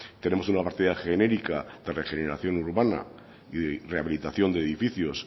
tenemos una partida genérica de regeneración urbana rehabilitación de edificios